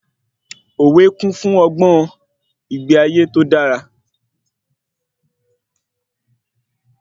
Òwe kun fún ọgbọ́n ìgbé ayé tó dára